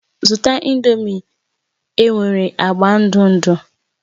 Zụta Ị̀ndómị́ e nwere agba ndụ ndụ